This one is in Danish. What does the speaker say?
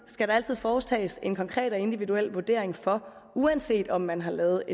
skal der altid foretages en konkret og individuel vurdering for uanset om man har lavet